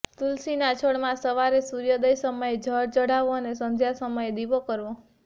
તુલસીના છોડમાં સવારે સૂર્યોદય સમયે જળ ચઢાવવું અને સંધ્યા સમયે દીવો કરવો